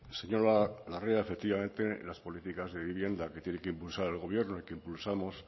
señora larrea efectivamente las políticas de vivienda que tiene que impulsar el gobierno y que impulsamos